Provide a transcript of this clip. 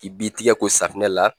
I b'i tigɛ ko safunɛ la